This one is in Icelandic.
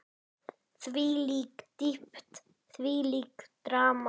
Þvílík dýpt, þvílíkt drama.